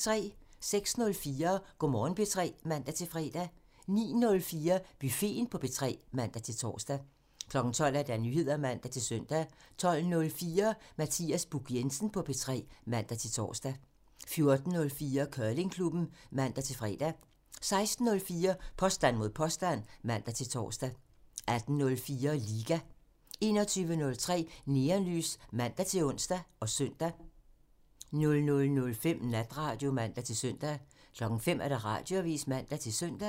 06:04: Go' Morgen P3 (man-fre) 09:04: Buffeten på P3 (man-tor) 12:00: Nyheder (man-søn) 12:04: Mathias Buch Jensen på P3 (man-tor) 14:04: Curlingklubben (man-fre) 16:04: Påstand mod påstand (man-tor) 18:04: Liga (man) 21:03: Neonlys (man-ons og søn) 00:05: Natradio (man-søn) 05:00: Radioavisen (man-søn)